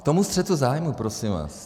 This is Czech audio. K tomu střetu zájmu, prosím vás.